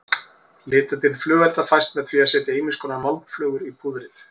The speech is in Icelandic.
Litadýrð flugelda fæst með því að setja ýmiskonar málmflögur í púðrið.